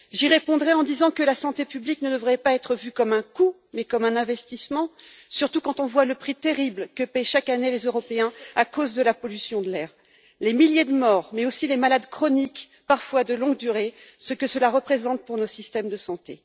cher. J'y répondrai en disant que la santé publique ne devrait pas être vue comme un coût mais comme un investissement, surtout quand on voit le prix exorbitant que paient chaque année les Européens à cause de la pollution de l'air, les milliers de morts mais aussi les maladies chroniques, parfois de longue durée, et les conséquences pour nos systèmes de santé.